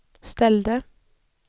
ställde